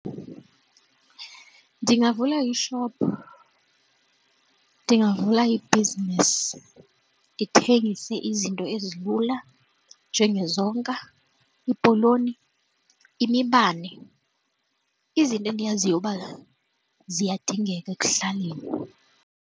Ndingavula i-shop, ndingavula ibhizinesi, ndithengise izinto ezilula njengezonka, iipoloni, imibane, izinto endiyaziyo uba ziyadingeka ekuhlaleni.